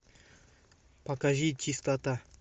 покажи чистота